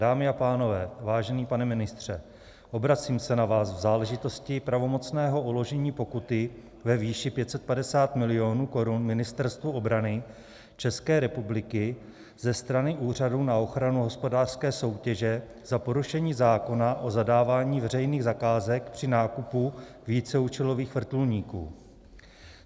Dámy a pánové, vážený pane ministře, obracím se na vás v záležitosti pravomocného uložení pokuty ve výši 550 milionů korun Ministerstvu obrany České republiky ze strany Úřadu na ochranu hospodářské soutěže za porušení zákona o zadávání veřejných zakázek při nákupu víceúčelových vrtulníků.